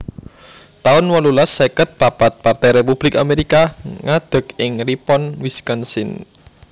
taun wolulas seket papat Partai Republik Amerika ngadeg ing Ripon Wisconsin